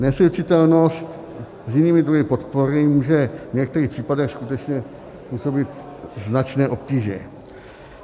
Neslučitelnost s jinými druhy podpory může v některých případech skutečně působit značné obtíže.